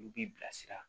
Olu b'i bilasira